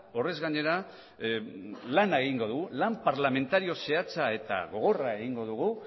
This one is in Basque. horrez gainera lana egingo dugu lan parlamentario zehatza eta gogorra egingo dugu